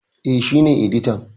E, shi ne editan.